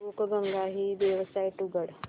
बुकगंगा ही वेबसाइट उघड